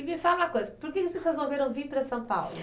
E me fala uma coisa, por que que vocês resolveram vir para São Paulo?